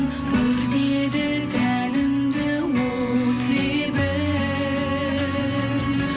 өртеді тәнімді от лебің